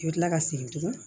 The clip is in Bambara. I bɛ tila ka segin tuguni